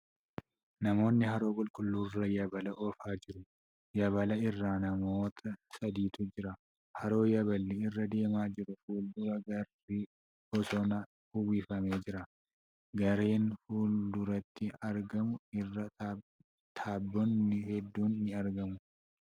Namoonni haroo qulqulluu irra yaabala oofaa jiru. Yaabala irra namoota sadiitu jira. Haroo yaaballi irra deemaa jiru fuuldura gaarri bosonaan uwwifamee jira. Gaarreen fuulduratti argamu irra tabboonni hedduun ni argamu.